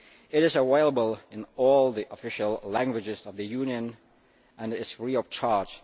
It is available in all the official languages of the Union and is free of charge.